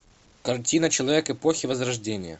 картина человек эпохи возрождения